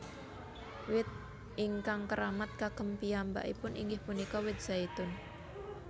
Wit ingkang keramat kagem piyambakipun inggih punika wit zaitun